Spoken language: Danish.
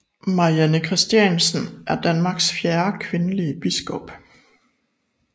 Marianne Christiansen er Danmarks fjerde kvindelige biskop